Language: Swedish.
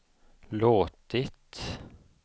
låtit